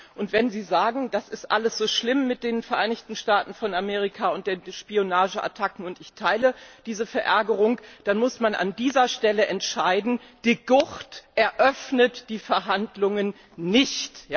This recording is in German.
Und wenn Sie sagen, das ist alles so schlimm mit den Vereinigten Staaten von Amerika und den Spionageattacken und ich teile diese Verärgerung dann muss man an dieser Stelle entscheiden De Gucht eröffnet die Verhandlungen nicht!